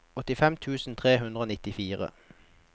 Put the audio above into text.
åttifem tusen tre hundre og nittifire